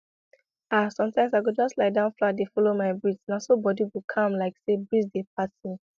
ah sometimes i go just lie down flat dey follow my breathna so body go calm like say breeze dey pat me